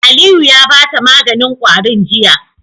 Aliyu ya bata maganin kwarin jiya